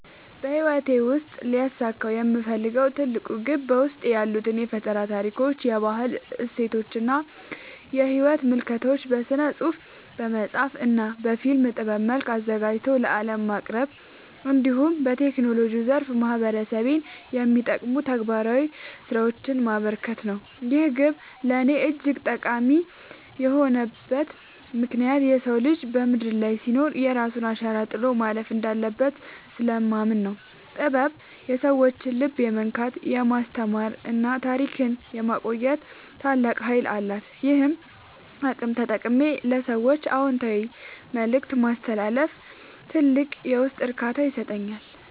በሕይወቴ ሊያሳካው የምፈልገው ትልቁ ግብ በውስጤ ያሉትን የፈጠራ ታሪኮች፣ የባህል እሴቶችና የሕይወት ምልከታዎች በሥነ-ጽሑፍ (በመጽሐፍ) እና በፊልም ጥበብ መልክ አዘጋጅቶ ለዓለም ማቅረብ፣ እንዲሁም በቴክኖሎጂው ዘርፍ ማኅበረሰቤን የሚጠቅሙ ተግባራዊ ሥራዎችን ማበርከት ነው። ይህ ግብ ለእኔ እጅግ ጠቃሚ የሆነበት ምክንያት የሰው ልጅ በምድር ላይ ሲኖር የራሱን አሻራ ጥሎ ማለፍ እንዳለበት ስለማምን ነው። ጥበብ የሰዎችን ልብ የመንካት፣ የማስተማርና ታሪክን የማቆየት ታላቅ ኃይል አላት፤ ይህንን አቅም ተጠቅሜ ለሰዎች አዎንታዊ መልእክት ማስተላለፍ ትልቅ የውስጥ እርካታን ይሰጠኛል።